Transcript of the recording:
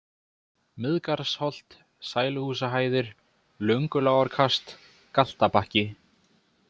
Miðgarðsholt, Sæluhúsahæðir, Löngulágarkast, Galtabakki